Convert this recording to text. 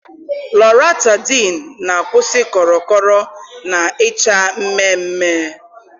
Loratadine na-akwusi korokoro na icha mmemmé